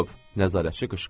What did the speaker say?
Nəzarətçi qışqırdı.